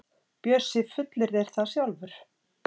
Bjössi fullyrðir það sjálfur.